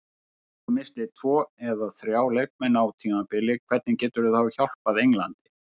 Ef þú missir tvo eða þrjá leikmenn á tímabili hvernig getur það hjálpað Englandi?